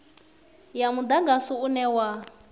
ya mudagasi une wa u